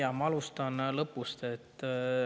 Jaa, ma alustan lõpust.